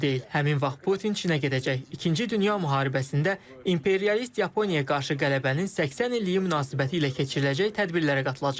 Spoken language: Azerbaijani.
Həmin vaxt Putin Çinə gedəcək, ikinci dünya müharibəsində imperialist Yaponiyaya qarşı qələbənin 80 illiyi münasibətilə keçiriləcək tədbirlərə qatılacaq.